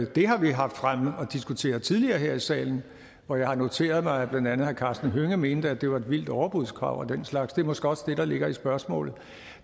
det har vi haft fremme og diskuteret tidligere her i salen hvor jeg har noteret mig at blandt andet herre karsten hønge mente at det var et vildt overbudskrav og den slags og det er måske også det der ligger i spørgsmålet